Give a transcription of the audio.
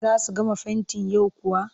Za su gama fentin yau kuwa?